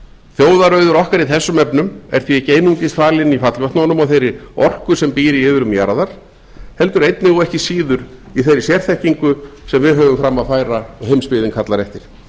þjóðarauður okkar í þessum efnum er því ekki einungis falinn í fallvötnunum og þeirri orku sem býr í iðrum jarðar heldur einnig og ekki síður í þeirri sérþekkingu sem við höfum fram að færa og heimsbyggðin kallar eftir